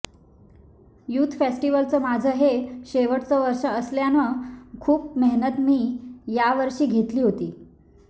youth फेस्टिव्हलचं माझं हे शेवटचं वर्ष असल्यानं खूप मेहनत मी यावर्षी घेतली होती